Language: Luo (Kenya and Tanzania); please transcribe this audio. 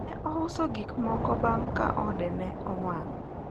ne ouso gikmoko bang ka ode ne owang